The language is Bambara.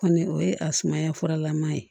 Kɔni o ye a sumaya furalama ye